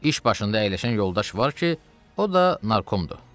İş başında əyləşən yoldaş var ki, o da narkomdur."